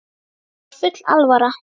Þeim var full alvara.